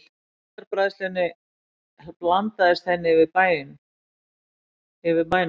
Síldarbræðslunni blandaðist henni yfir bænum.